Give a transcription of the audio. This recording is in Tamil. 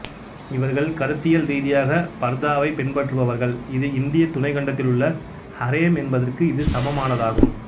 இவர்கள் கருத்தியல் ரீதியாக பர்தாவைப் பின்பற்றுபவர்கள் இது இந்திய துணைக் கண்டத்தில் உள்ள ஹரேம் என்பதற்கு இது சமமானதாகும்